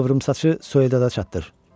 Qıvrımsaçı soydada çatdır.